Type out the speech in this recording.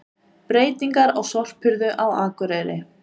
Breytingar á sorphirðu á Akureyri